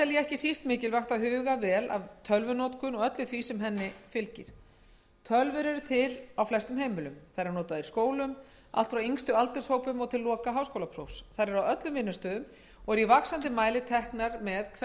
ég ekki síst mikilvægt að huga vel að tölvunotkun og öllu því sem henni fylgir tölvur eru til á flestum heimilum þær eru notaðar í skólum allt frá yngstu aldurshópum og til loka háskólaprófs þær eru á öllum vinnustöðum og eru í vaxandi mæli teknar með hvert sem